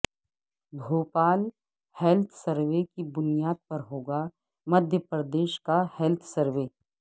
Bhopal health survey کی بنیاد پر ہوگا مدھیہ پردیش کا ہیلتھ سروے